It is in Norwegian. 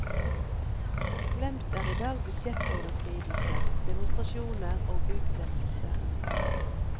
Glemt er i dag budsjettoverskridelser, demonstrasjoner og utsettelser.